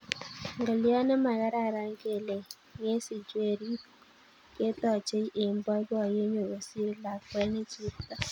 Ngolyot ne makaran kele ngesich werit ketochei eng boiboiyet neo kosir lakwet ne chepto